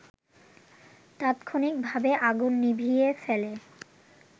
তাৎক্ষণিকভাবে আগুন নিভিয়ে ফেলে